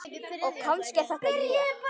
Og kannski er þetta ég.